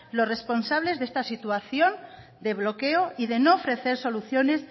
los responsables de esta situación de bloqueo y de no ofrecer soluciones